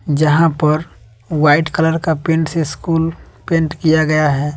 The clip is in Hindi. यहां पर वाइट कलर का पेंट से स्कूल पेंट किया गया है।